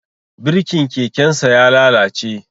Birkin kekensa ya lalace